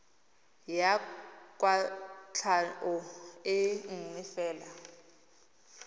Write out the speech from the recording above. ya kwatlhao e nngwe fela